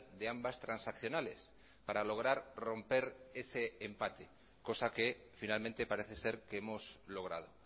de ambas transaccionales para lograr romper ese empate cosa que finalmente parece ser que hemos logrado